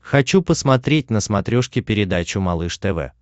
хочу посмотреть на смотрешке передачу малыш тв